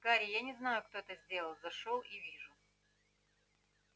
гарри я не знаю кто это сделал зашёл и вижу